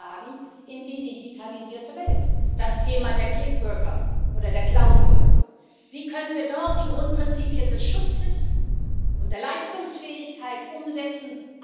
müssen, wie sie in die digitalisierte Welt zu übertragen sind. Das Thema der Clickworker oder der Cloudworker wie können wir dort die Grundprinzipien des Schutzes und der Leistungsfähigkeit umsetzen?